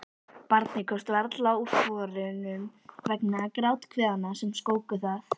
Barnið komst varla úr sporunum vegna gráthviðanna sem skóku það.